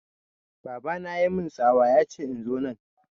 Baba na ya mun tsawa yace in zo nan